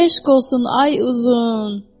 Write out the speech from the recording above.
Eşq olsun, ay uzun!